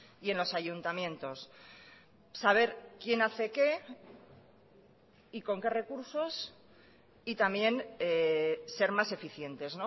y en los ayuntamientos saber quién hace qué y con qué recursos y también ser más eficientes